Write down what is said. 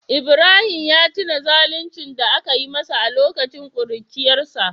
Ibrahim ya tuna zaluncin da aka yi masa a lokacin kuruciyarsa